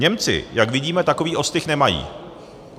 Němci, jak vidíme, takový ostych nemají.